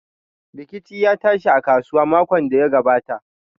Rikici ya tashi a kasuwa makon da ya gabata.